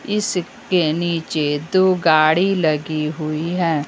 इसके नीचे दो गाड़ी लगी हुई हैं।